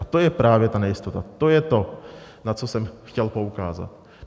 A to je právě ta nejistota, to je to, na co jsem chtěl poukázat.